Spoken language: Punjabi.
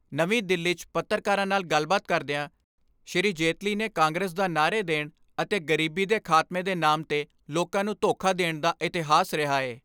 ਨਵੀਂ ਦਿੱਲੀ 'ਚ ਪੱਤਰਕਾਰਾਂ ਨਾਲ ਗੱਲਬਾਤ ਕਰਦਿਆਂ ਸ੍ਰੀ ਜੇਤਲੀ ਨੇ ਕਾਂਗਰਸ ਦਾ ਨਾਅਰੇ ਦੇਣ ਅਤੇ ਗਰੀਬੀ ਦੇ ਖਾਤਮੇ ਦੇ ਨਾਮ 'ਤੇ ਲੋਕਾਂ ਨੂੰ ਧੋਖਾ ਦੇਣ ਦਾ ਇਤਿਹਾਸ ਰਿਹਾ ਏ।